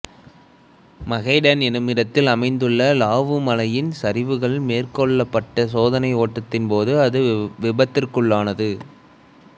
மகேடன் என்னுமிடத்தில் அமைந்துள்ள லாவு மலையின் சரிவுகளில் மேற்கெள்ளப்பட்ட சோதனை ஓட்டத்தின்போது அது விபத்திற்குள்ளானது